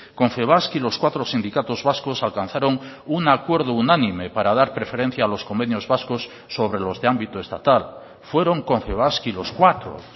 confebask y los cuatro sindicatos vascos alcanzaron un acuerdo unánime para dar preferencia a los convenios vascos sobre los de ámbito estatal fueron confebask y los cuatro